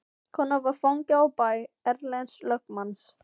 Konan var fangi á bæ Erlends lögmanns.